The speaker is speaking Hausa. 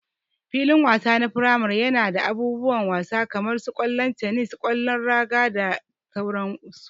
Filin wasa na firamare yana da abubuwan wasa kaman su kwallo, tenis, kwallon raga da sauran su.